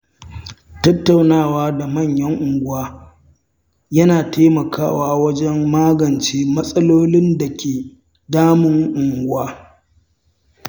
Tattaunawa da manyan unguwa yana taimakawa wajen magance matsalolin da ke damun unguwa.